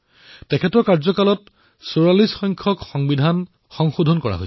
তেওঁৰ কাৰ্যকালৰ সময়চোৱাত ৪৪তম সংবিধান সংশোধনী কৰা হল